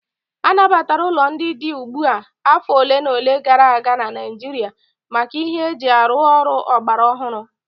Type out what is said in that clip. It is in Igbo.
A nabatara ụlọ ndị dị ugbu a afọ ole na ole gara aga na Naịjirịa maka ihe eji arụ ọrụ ọgbara ọhụrụ